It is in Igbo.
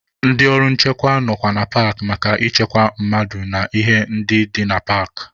Ndị ọrụ nchekwa nọkwa na paakị maka ịchekwa mmadụ na ihe ndị dị na paakị.